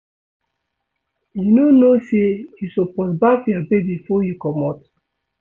You no know sey you suppose baff your baby before you comot?